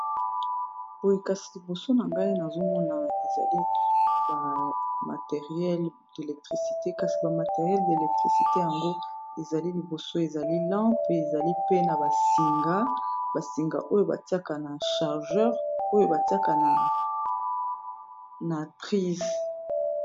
boye kasi liboso na ngai nazomona ezali bamateriele d'elektricité kasi bamateriele d'elektricité yango ezali liboso ezali lanp mpe ezali pe na basinga basinga oyo batiaka na chargeur oyo batiaka na trise